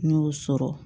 N y'o sɔrɔ